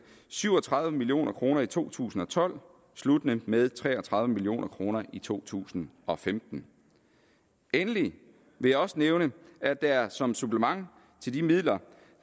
syv og tredive million kroner i to tusind og tolv sluttende med tre og tredive million kroner i to tusind og femten endelig vil jeg også nævne at der som supplement til de midler